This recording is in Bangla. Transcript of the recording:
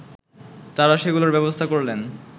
তারা সেগুলোর ব্যবস্থা করলেন